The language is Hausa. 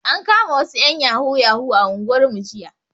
An kama wasu ƴan yahoo yahoo a unguwarmu jiya